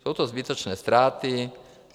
Jsou to zbytečné ztráty.